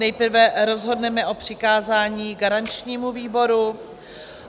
Nejprve rozhodneme o přikázání garančnímu výboru.